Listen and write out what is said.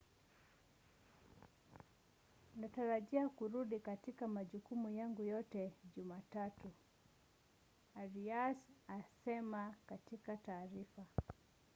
natarajia kurudi katika majukumu yangu yote jumatatu,” arias alisema katika taarifa